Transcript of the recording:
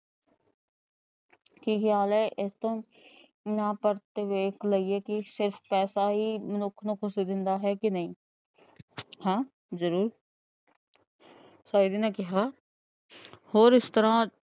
ਕੀ ਖਿਆਲ ਹੈ। ਇਸਤੋਂ ਆਪਾ ਪਰਤ ਕੇ ਵੇਖ ਲਈਏ ਕੀ ਸਿਰਫ਼ ਪੈਸਾ ਹੀ ਮਨੁੱਖ ਨੂੰ ਖੁਸ਼ੀ ਦਿੰਦਾ ਹੈ ਕੇ ਨਹੀਂ। ਹਾਂ ਜ਼ਰੂਰ ਸ਼ਾਇਦ ਨੇ ਕਿਹਾ। ਹੋਰ ਇਸ ਤਰ੍ਹਾਂ